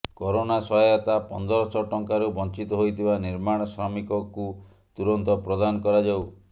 corona ସହାୟତା ପନ୍ଦରଶହ ଟଙ୍କାରୁ ବଂଚିତ ହୋଇଥିବା ନିର୍ମାଣ ଶ୍ରମିକକୁ ତୁରନ୍ତ ପ୍ରଦାନ କରାଯାଉ